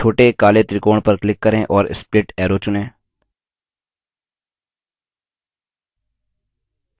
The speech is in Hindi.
उपलब्ध आकरों को देखने के लिए छोटे काले त्रिकोण पर click करें और split arrow चुनें